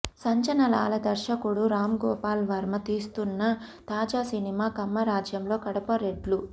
సంచలనాల దర్శకుడు రాంగోపాల్ వర్మ తీస్తున్న తాజా సినిమా కమ్మ రాజ్యంలో కడప రెడ్లు